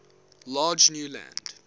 large new land